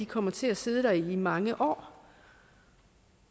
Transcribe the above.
kommer til at sidde der i mange år